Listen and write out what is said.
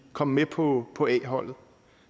komme med på på a holdet